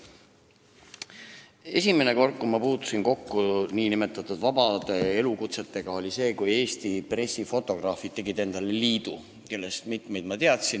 Esimene kord, kui ma puutusin kokku nn vabade elukutsetega, oli siis, kui liidu tegid Eesti pressifotograafid, kellest mitmeid ma teadsin.